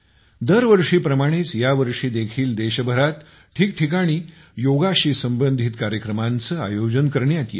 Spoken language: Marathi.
दर वर्षीप्रमाणेच या वर्षी देखील देशभरात ठिकठिकाणी योगाशी संबंधित कार्यक्रमांचे आयोजन करण्यात येतील